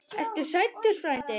Ertu hræddur frændi?